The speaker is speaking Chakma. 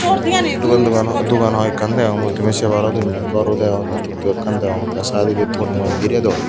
dogan dogan aa dogan hoiekkan degong mui tumi sei paro indi gorw dego tey tuktukl ekkan degong tey saidodi tonnoi birey don.